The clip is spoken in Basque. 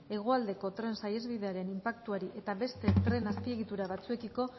hegoaldeko tren saihesbidearen inpaktuari eta beste tren azpiegitura batzuekiko